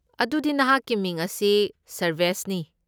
ꯑꯗꯨꯗꯤ ꯅꯍꯥꯛꯀꯤ ꯃꯤꯡ ꯑꯁꯤ ꯁꯔꯚꯦꯁꯅꯤ꯫